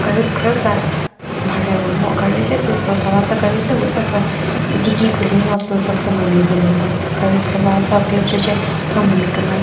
gari khrüza mharheo mo gari se sü süh thava sa gari sewu züsa sü digi khulino sülüsü thüma miwu lü mha gari khrüva sa phe ushiche thüma mi küna ba.